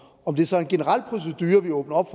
det så er en general procedure vi åbner op